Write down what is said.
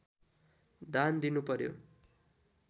दान दिनुपर्‍यो